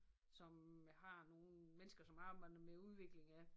Som har nogle mennesker som arbejder med udvikling af